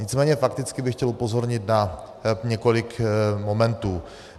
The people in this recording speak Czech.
Nicméně fakticky bych chtěl upozornit na několik momentů.